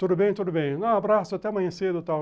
Tudo bem, tudo bem, um abraço, até amanhã cedo e tal.